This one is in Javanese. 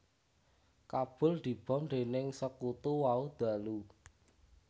Kabul dibom dening sekutu wau ndalu